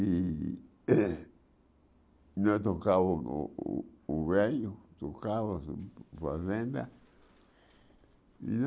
E nós tocavamos o o o velho, tocava a fazenda.